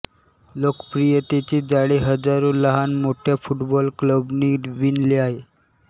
लोकप्रियतेचे जाळे हजारो लहान मोठ्या फुटबॉलक्लबंनी विणले आहे